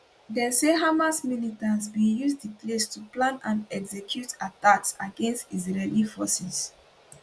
dem say hamas militants bin use di place to plan and execute attacks against israeli forces